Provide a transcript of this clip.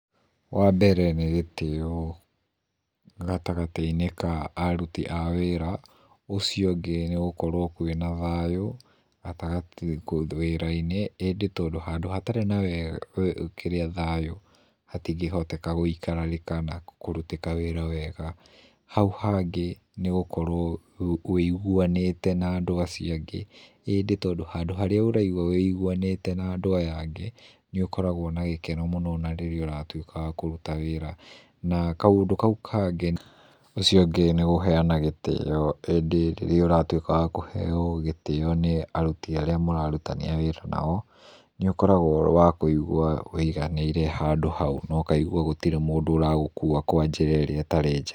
Wambere nĩ gĩtĩo gatagatĩinĩ ka aruti a wĩra, ũcio ũngĩ nĩ gũkorwo kwĩna thayũ wĩra-inĩ ĩndĩ handũ hatarĩ na thayũ hatingĩhoteka gũikarĩka na kũrutĩka wĩra wega. Hau hangĩ nĩ gũkorwo ũigũanĩte na andũ acio angĩ, ĩndĩ handũ harĩa ũraigua wũigũanĩte na andũ ya angĩ nĩũkoragwo na gĩkeno nginya rĩrĩa ũratũĩka wa kũruta wĩra, kaũndũ kaũ kangĩ nĩ kũheana gĩtĩo ĩndĩ rĩrĩa ũratũĩka wa kũheo gĩtĩo nĩ arũti arĩa mũrarutithania wĩra nao, nĩũkoragwo ũrĩ wa kũigwa ũĩganĩire handũ hau na ũkaigua gũtirĩ mũndũ ũragũkua kwa njĩra ĩrĩa ĩtarĩ njega.